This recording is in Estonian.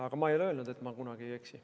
Aga ma ei ole öelnud, et ma kunagi ei eksi.